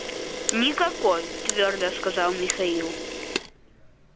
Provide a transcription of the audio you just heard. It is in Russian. никакой твёрдо сказал михаил